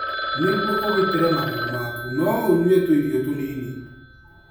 Nĩguo ũgitĩre magego maku, no ũnyue tũirio tũnini.